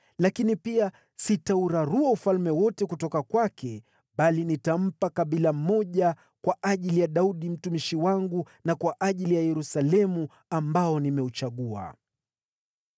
Lakini pia sitaurarua ufalme wote kutoka kwake, bali nitampa kabila moja kwa ajili ya Daudi mtumishi wangu na kwa ajili ya Yerusalemu, ambao nimeuchagua.”